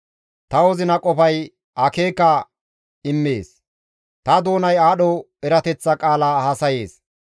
Ta wozina qofay akeeka immees; Ta doonay aadho erateththa qaala haasayees;